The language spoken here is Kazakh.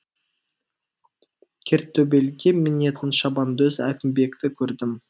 кертөбелге мінетін шабандоз әкімбекті көрдім